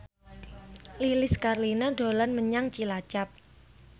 Lilis Karlina dolan menyang Cilacap